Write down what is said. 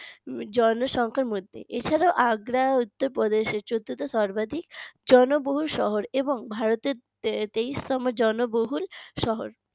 জনসংখ্যার মধ্যে এছাড়াও আগ্রা উত্তরপ্রদেশের চতুর্থ সর্বাধিক জনবহুল শহর এবং ভারতের তেইশতম জনবহুল শহর